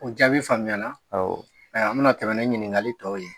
O jaabi faamuya na. Awɔ. Ayiwa, an bɛna tɛmɛ ni ɲiningali tɔw ye.